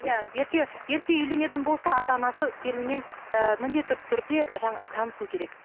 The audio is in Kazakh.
иә ерте ерте үйленетін болса ата анасы келінмен ііі міндетті түрде танысу керек